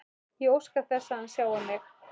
Ég óska þess að hann sjái mig.